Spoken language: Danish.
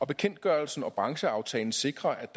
bekendtgørelsen og brancheaftalen sikrer